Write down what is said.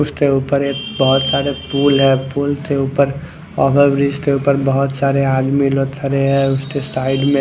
उसके ऊपर एक बोहोत सारे पूल है पूल के उपर बोहोत सारे अदमी खड़े है उसके साइड में--